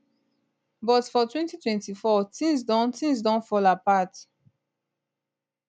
but for 2024 tins don tins don fall apart